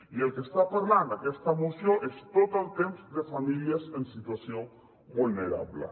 i del que està parlant aquesta moció és tot el temps de famílies en situació vulnerable